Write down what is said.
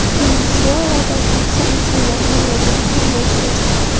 Venesuelada keksa insonlar norozilik namoyishiga chiqdi.